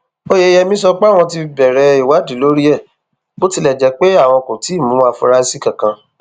oyeyèmí sọ pé àwọn ti bẹrẹ ìwádìí lórí ẹ bó tilẹ jẹ pé àwọn kò tí ì mú àfúrásì kankan